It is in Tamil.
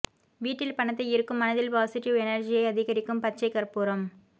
வீட்டில் பணத்தை ஈர்க்கும் மனதில் பாசிட்டிவ் எனர்ஜியை அதிகரிக்கும் பச்சை கற்பூரம்